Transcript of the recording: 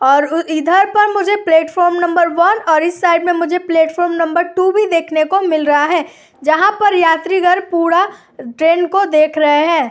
और उ इधर पर मुझे प्लेटफार्म नंबर वन और इस साइड में मुझे प्लेटफार्म नंबर टू भी देखने को मिल रहा है| जहां पर यात्रिगड़ पूड़ा ट्रेन को देख रहे हैं।